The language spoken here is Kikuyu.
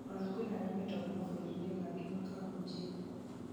ona kwĩna arĩa metagwo mabũrũriinĩ mangĩ makahunjie